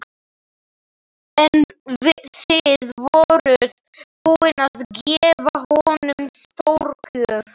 En þið voruð búin að gefa honum stórgjöf.